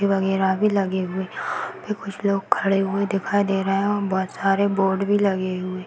पौधे-वगैरा भी लगे हुए हैं। यहाँ पे कुछ लोग खड़े हुए दिखाई दे रहे हैं और बहोत सारे बोर्ड भी लगे हुए --